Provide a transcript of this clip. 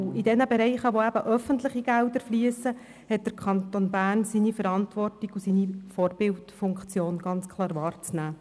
In jenen Bereichen, in denen öffentliche Gelder fliessen, hat der Kanton Bern seine Verantwortung und seine Vorbildfunktion ganz klar wahrzunehmen.